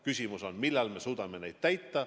Küsimus on, millal me suudame neid kohustusi täita.